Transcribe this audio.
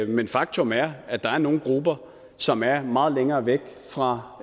men faktum er at der er nogle grupper som er meget langt væk fra